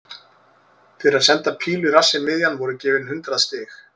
Fyrir að senda pílu í rassinn miðjan voru gefin hundrað stig.